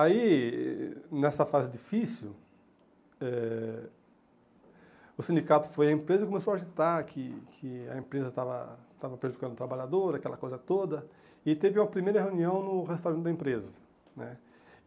Aí, nessa fase difícil, eh o sindicato foi à empresa e começou a agitar que que a empresa estava estava prejudicando o trabalhador, aquela coisa toda, e teve uma primeira reunião no restaurante da empresa né.